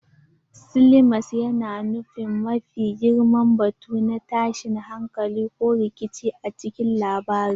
Climax yana nufin mafi girman batu na tashin hankali ko rikici a cikin labari.